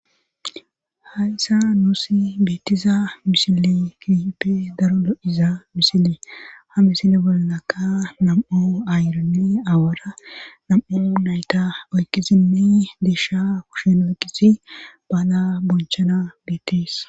Hayssa nuusi beetiza mishile kiippe daro lo7iza misile ha misile bolnaka nam7o ayronni awara nam7o nayta oykkizinne deisha kushen oyqisi baaga bonchana beetis